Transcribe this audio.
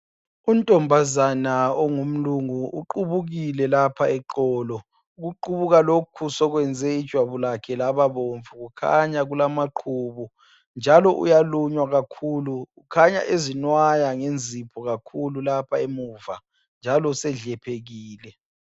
Untombazana ongumlungu uqubukile lapha eqolo. Ukuqubuka lokhu sekwenze ijwabu lakhe lababomvu. Kukhanya kulamaqhubu. Njalo uyalunywa kakhulu! Kukhanya ezinwaya ngenzipho kakhulu lapha emuva, njalo usedlephekile.